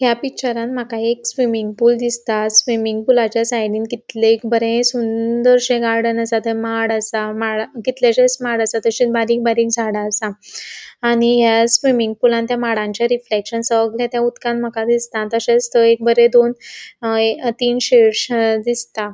या पिक्चरान मका एक स्विमिंग पूल दिसता स्विमिंग पूलाचा साइडीन कितलेशे बोरे सुंदरशे गार्डन असा थे माड असा म कितलेशे माड असा ताशेनस बारीक बारीक झाड़ा असा आणि या स्विमिंग पूलत थ्य माडांचे रिफ्लेक्शन सगळे थ्य उदकांत मका दिसता तशेच थंय एक बोरे दोन अ थीन दिसता.